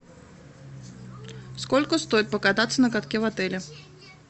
сколько стоит покататься на катке в отеле